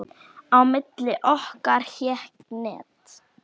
Á milli okkar hékk net.